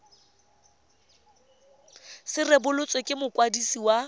se rebotswe ke mokwadisi wa